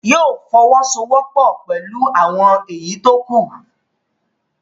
Yóò fọwọ́sowọ́pọ̀ pẹ̀lú àwọn èyí tó kú